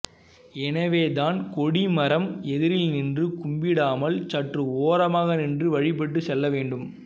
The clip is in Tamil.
எனவேதான் கொடி மரம் எதிரில் நின்று கும்பிடாமல் சற்று ஓரமாக நின்று வழிபட்டு செல்ல வேண்டும்